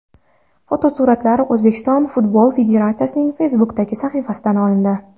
Fotosuratlar O‘zbekiston Futbol Federatsiyasining Facebook’dagi sahifasidan olindi.